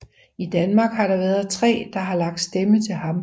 I Danmark har der været tre der har lagt stemme til ham